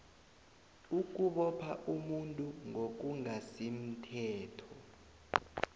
ukubopha umuntu ngokungasimthetho